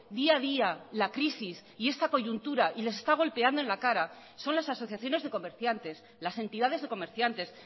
día a día la crisis y esta coyuntura y les está golpeando en la cara son las asociaciones de comerciantes las entidades de comerciantes